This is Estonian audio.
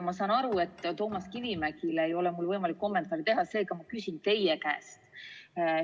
Ma saan aru, et Toomas Kivimägile ei ole mul võimalik kommentaare esitada, seega ma küsin teie käest.